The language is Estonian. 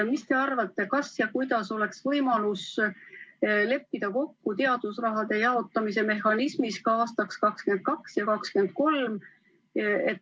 Mis te arvate, kas ja kuidas oleks võimalik leppida kokku teadusraha jaotamise mehhanismis ka aastateks 2022 ja 2023?